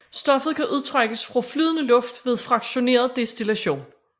Stoffet kan udtrækkes fra flydende luft ved fraktioneret destillation